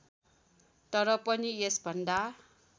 तर पनि यसभन्दा